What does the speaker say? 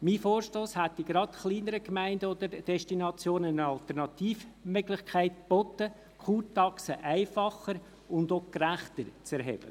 Mein Vorstoss hätte gerade kleineren Gemeinden oder Destinationen eine Alternativmöglichkeit geboten, die Kurtaxe einfacher und auch gerechter zu erheben.